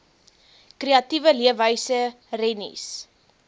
kreatiewe leefwyse rennies